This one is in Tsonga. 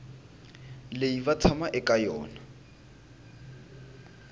leyi va tshamaka eka yona